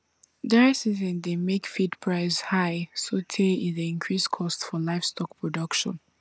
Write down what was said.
dry season dey make feed price high sotey e dey increase cost for livestock production